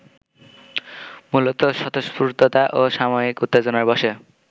মূলত স্বতঃস্ফূর্ততা ও সাময়িক উত্তেজনার বশে